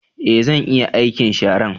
Ee, zan iya aikin sharan